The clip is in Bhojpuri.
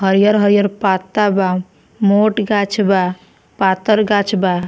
हरियर-हरियर पत्ता बा मोट गाछ बा पातर गाछ बा।